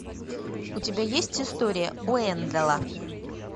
у тебя есть история уэнделла